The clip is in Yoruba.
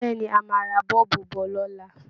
Bẹ́ẹ̀ ni, a máa ra bọ́ọ̀bù bọ̀ lọ́la